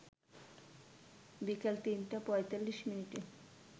বিকাল ৩টা ৪৫মিনিটে